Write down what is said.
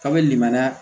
Kabini limaniya